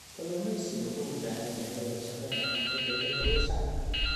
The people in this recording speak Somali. Kalluumeysigu wuxuu u baahan yahay wadashaqeyn dhexmarta dowladda iyo shacabka.